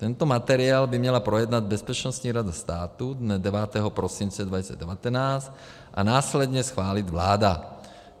Tento materiál by měla projednat Bezpečnostní rada státu dne 9. prosince 2019 a následně schválit vláda.